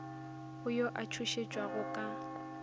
go yo a tšhošetšwago ka